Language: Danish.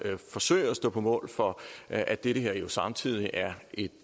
forsøge at stå på mål for at dette her jo samtidig er et